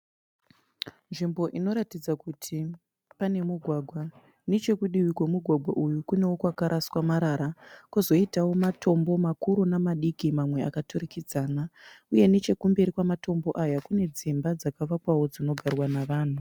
Nzvimbo inoratidza kuti pane mugwagwa. Nechekudivi kwemugwagwa uyu kunewo pakaraswa marara kwozoitawo matombo makuru nemadiki mamwe akaturikidzana uye nechekumberi kwematombo aya kune dzimba dzakavakwawo dzinogarwa navanhu.